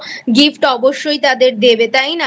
Gift অবশ্যই তাদের দেবে তাই না?